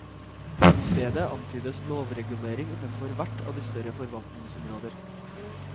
I stedet antydes lovregulering innenfor hvert av de større forvaltningsområder.